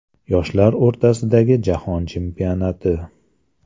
Yoshlar o‘rtasidagi Jahon chempionati.